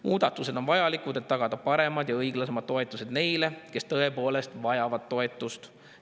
Muudatused on vajalikud, et tagada paremad ja õiglasemad toetused neile, kes tõepoolest vajavad toetust.